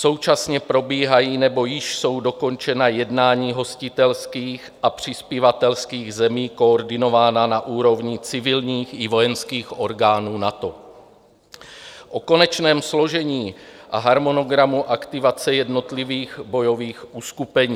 Současně probíhají nebo již jsou dokončena jednání hostitelských a přispěvatelských zemí koordinována na úrovni civilních i vojenských orgánů NATO o konečném složení a harmonogramu aktivace jednotlivých bojových uskupení.